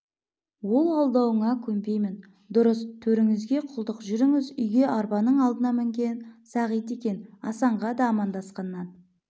ол алдауыңа көнбеймін дұрыс төреңізге құлдық жүріңіз үйге арбаның алдына мінген сағит екен асанға да амандасқаннан